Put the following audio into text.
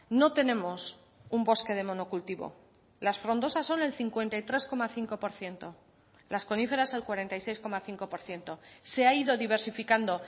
no tenemos un bosque de monocultivo las frondosas son el cincuenta y tres coma cinco por ciento las coníferas el cuarenta y seis coma cinco por ciento se ha ido diversificando